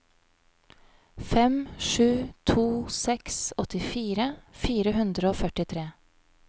fem sju to seks åttifire fire hundre og førtitre